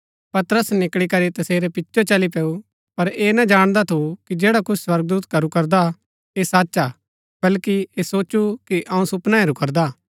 पतरस निकळी करी तसेरै पिचो चली पैऊ पर ऐह ना जाणदा थु कि जैडा कुछ स्वर्गदूत करू करदा ऐह सच हा बल्कि ऐह सोचु कि अऊँ सुपना हेरू करदा